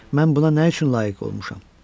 Mən buna nə üçün layiq olmuşam?